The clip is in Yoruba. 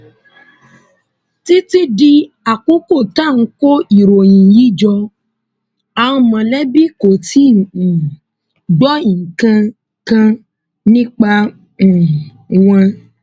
títí di àkókò tá à ń kó ìròyìn yìí jọ àwọn mọlẹbí kò tí ì um gbọ nǹkan kan nípa um wọn